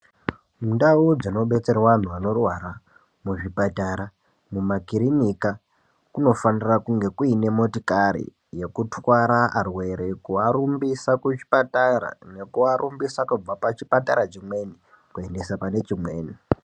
Mundau dzinobetserwa antu anorwara, muzvipatara kumakirinika, kunofanira kunge kuine motikari yekutwara arwere, kuarumbisa. kuchipatara, nekuarumbisa kubva pachipatara chimweni, kuendesa pane chimweni.